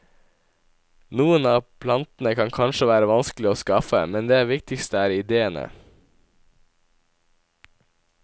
Noen av plantene kan kanskje være vanskelige å skaffe, men det viktigste er idéene.